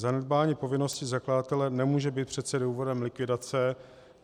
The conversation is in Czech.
Zanedbání povinností zakladatele nemůže být přece důvodem likvidace.